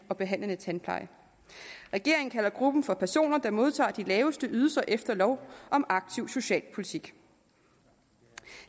og behandlende tandpleje regeringen kalder gruppen for personer der modtager de laveste ydelser efter lov om aktiv socialpolitik